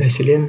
мәселен